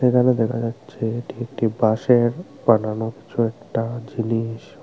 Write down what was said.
এখানে দেখা যাচ্ছে এটি একটি বাঁশের বানানো কিছু একটা জিনিস।